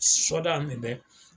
Soda in de bɛ